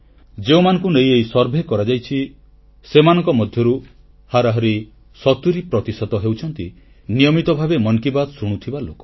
ଯେଉଁମାନଙ୍କୁ ନେଇ ଏହି ସର୍ଭେ କରାଯାଇଛି ସେମାନଙ୍କ ମଧ୍ୟରୁ ହାରାହାରି 70 ପ୍ରତିଶତ ହେଉଛନ୍ତି ନିୟମିତ ଭାବେ ମନ କି ବାତ୍ ଶୁଣୁଥିବା ଲୋକ